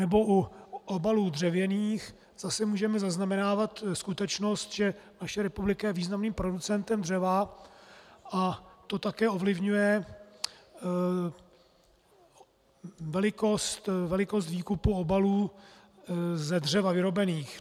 Nebo u obalů dřevěných zase můžeme zaznamenávat skutečnost, že naše republika je významným producentem dřeva, a to také ovlivňuje velikost výkupu obalů ze dřeva vyrobených.